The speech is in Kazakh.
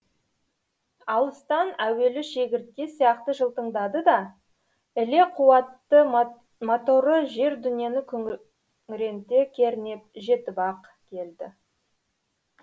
алыстан әуелі шегіртке сияқты жылтыңдады да іле қуатты моторы жер дүниені күңіренте кернеп жетіп ақ келді